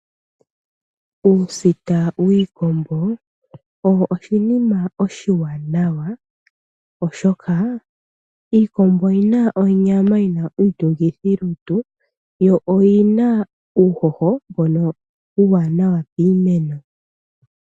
Uusita wiikombo, owo oshinima oshiwanawa, oshoka iikombo oyi na onyama yi na iitungithilutu yo oyina uuhoho uuwanawa piimeno.